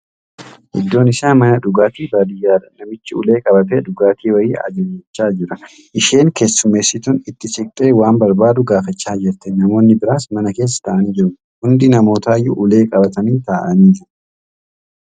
Iddoon isaa mana dhugaatii baadiyyaadha. Namichi ulee qabatee dhugaatii wayii ajajachaa jira. Isheen keessummeessituun itti siqtee waan barbaadu gaafachaa jirti. Namoonni biraas mana keessa taa'anii jiru. Hundi namootaayyuu ulee qabatanii taa'anii jiru.